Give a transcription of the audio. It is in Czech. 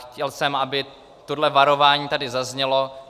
Chtěl jsem, aby toto varování tady zaznělo.